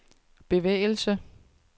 bevægelse